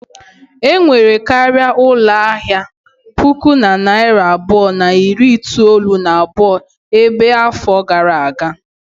Enwere karịa ụlọ ahịa puku na narị abụọ na iri itolu na abụọ ebe a afọ gara aga.